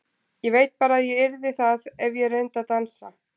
Ég veit bara að ég yrði það ef ég reyndi að dansa.